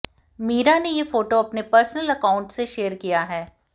मीरा ने ये फोटो अपने पर्सनल अकाउंट से शेयर किया है